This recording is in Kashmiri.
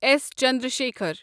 اٮ۪س چندرسکھر